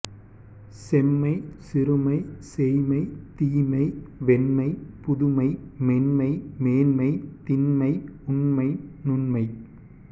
செம்மை சிறுமை சேய்மை தீமை வெம்மை புதுமை மென்மை மேன்மை திண்மை உண்மை நுண்மை